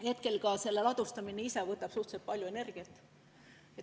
Praegu võtab selle ladustamine ise suhteliselt palju energiat.